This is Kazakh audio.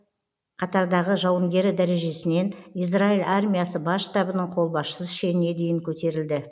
қатардағы жауынгері дәрежесінен израиль армиясы бас штабының қолбасшысы шеніне дейін көтерілді